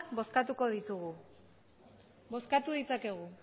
bozkatuko ditugu bozkatu ditzakegu